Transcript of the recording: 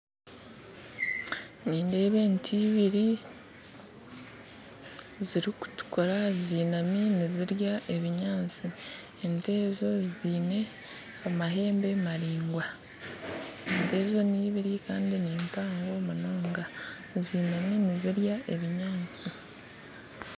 Nindeeba ente ibiiri zirikutukuura zinaami nizirya ebinyaatsi ente ezo zaine amahembe maraingwa ente ezo nibiiri kandi nimpango munonga zinaami nizirya ebinyaatsi